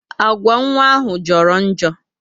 Agwa nwa ahụ joro njo